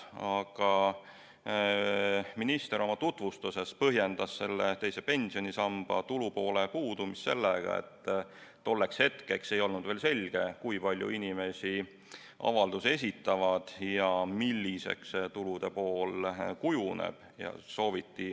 Aga minister oma tutvustuses põhjendas teise pensionisamba tulupoole puudumist sellega, et tolleks hetkeks ei olnud veel selge, kui palju inimesi avalduse esitab ja milliseks see tulude pool kujuneb.